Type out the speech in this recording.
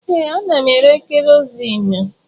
Ee, ana m ere kerọsinụ.